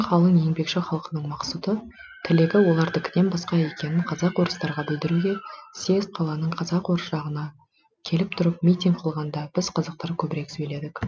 қалың еңбекші халқының мақсұты тілегі олардікінен басқа екенін казак орыстарға білдіруге съезд қаланың казак орыс жағына келіп тұрып митинг қылғанда біз қазақтар көбірек сөйледік